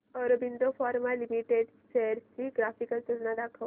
Aurobindo Pharma Limited shares ची graphical तुलना दाखव